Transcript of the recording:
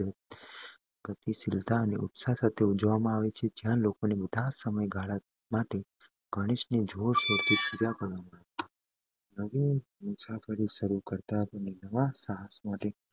ગતિશીલતા અને ઉત્સાહ સાથે ઉજવવામાં આવે છે જ્યાં લોકો આ બધા સમયગાળા માટે ગણેશ ને જોરશોર થી પૂજા કરે છે. નવી મુસાફરી શરૂ કરતા પહેલા અથવા નવા સાહસમાં